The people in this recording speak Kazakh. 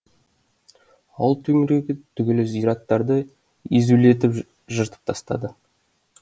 ауыл төңірегі түгілі зираттарды езулетіп жыртып тастады